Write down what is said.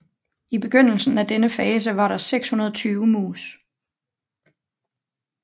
I begyndelsen af denne fase var der 620 mus